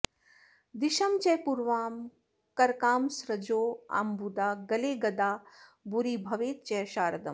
दिशं च पूर्वां करकासृजोऽम्बुदा गले गदा भूरि भवेच्च शारदम्